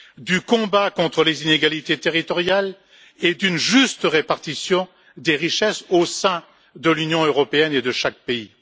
du combat contre les inégalités territoriales, et d'une juste répartition des richesses au sein de l'Union européenne et de chaque pays.